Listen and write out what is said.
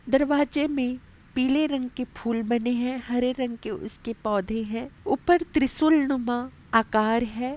दरवाजे में पीले रंग के फूल बने हैं। हरे रंग के उसके पौधे हैं। ऊपर त्रिशूल नुमा आकार है।